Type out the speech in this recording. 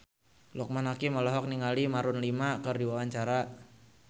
Loekman Hakim olohok ningali Maroon 5 keur diwawancara